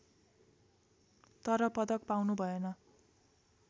तर पदक पाउनुभएन